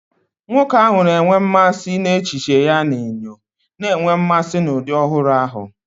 Nwoke ahụ na-enwe mmasị n'echiche ya na enyo, na-enwe mmasị na ụdị ọhụrụ ahụ.